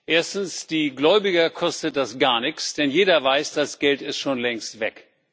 Erstens Die Gläubiger kostet das gar nichts, denn jeder weiß, das Geld ist schon längst weg.